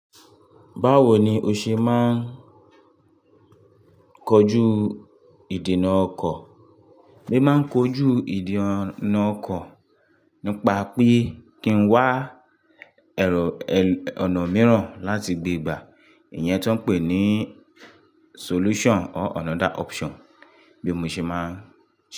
Báwo ni o ṣe máa kọjú ìdènà ọkọ̀? E mi máa ń kojú ìdènà ọkọ̀ nípa pé kí n wá ẹ̀rọ-- ọ̀nà mìíràn láti gbé gbà, ìyẹn tó ń pè ní solution or another option bí mo ṣe máa ń.